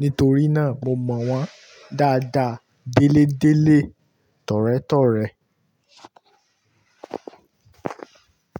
Nítorí náà mo mọ̀ wọ́n dáadáa, délé délé, tọ̀rẹ́ tọ̀rẹ́.